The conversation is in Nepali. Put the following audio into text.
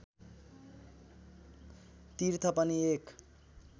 तीर्थ पनि एक